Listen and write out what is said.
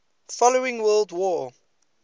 following world war